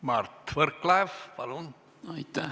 Mart Võrklaev, palun!